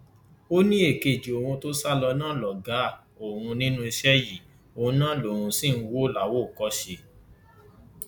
ó ní èkejì òun tó sá lọ náà lọgá òun nínú iṣẹ yìí òun náà lòun sì ń wò láwòkọṣe